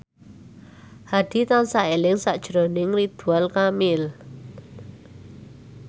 Hadi tansah eling sakjroning Ridwan Kamil